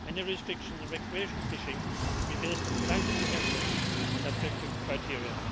Any restrictions on recreational fishing should be based on scientific evidence and objective criteria.